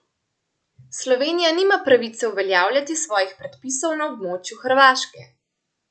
Slovenija nima pravice uveljavljati svojih predpisov na območju Hrvaške.